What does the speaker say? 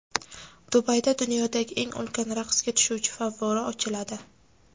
Dubayda dunyodagi eng ulkan raqsga tushuvchi favvora ochiladi.